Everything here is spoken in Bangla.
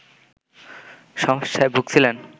সমস্যায় ভুগছিলেন